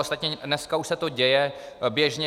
Ostatně dneska už se to děje běžně.